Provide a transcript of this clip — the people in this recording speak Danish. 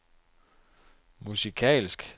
musikalsk